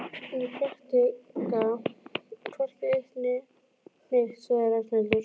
Ég predika hvorki eitt né neitt sagði Ragnhildur.